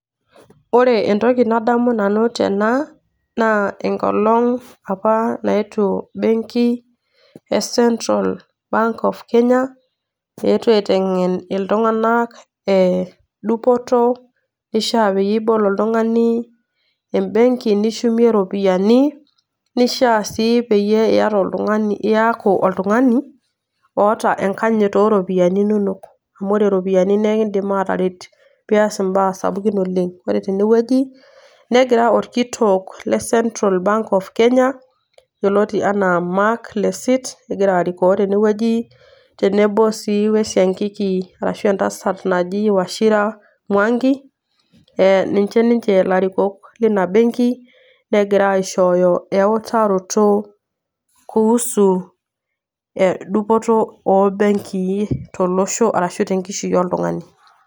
Ore entoki nadamu tena naa enkolong' apa naetuo benki e Central Bank of Kenya, eetuo aiteng'en iltung'anak ee dupoto ishaa peyie ibol oltung'ani embenki nishumie ropiani, nishaa sii peyie iyata oltung'ani iyaku oltung'ani oata enkanyit o ropiani inonok amu ore iropiani nekindim ataret pias imbaa sapukin oleng'. Ore tene wueji negira orkitok le Central Bank of Kenya yoloiti enaa Mark Lesit, egira arikoo tene wueji tenebo sii we siankiki arashu entasat naji Wachira Mwangi ee ninje ninje larikok lina benki negira aishooyo eutaroto kuhusu e dupoto o benkii tolosho arashu te nkishui oltung'ani.